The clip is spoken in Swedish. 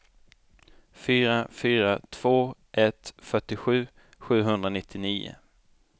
fyra fyra två ett fyrtiosju sjuhundranittionio